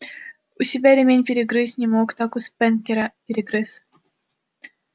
у себя ремень перегрызть не мог так у спэнкера перегрыз